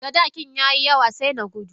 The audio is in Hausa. sadakin yayi yawa sai na gudu.